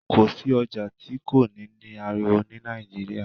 Kọ sí ọjà tí kò ní ní àriwo ni nàìjíría